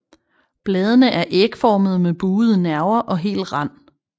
Bladene er ægformede med buede nerver og hel rand